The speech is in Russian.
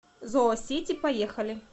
зоосити поехали